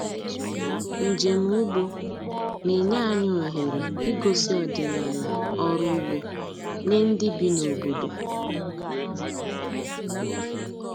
Njem ugbo na-enye anyị ohere igosi ọdịnala ọrụ ugbo nye ndị bi n’obodo.